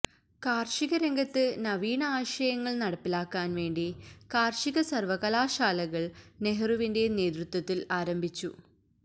കാർഷികരംഗത്ത് നവീന ആശയങ്ങൾ നടപ്പിലാക്കാൻ വേണ്ടി കാർഷികസർവ്വകലാശാലകൾ നെഹ്റുവിന്റെ നേതൃത്വത്തിൽ ആരംഭിച്ചു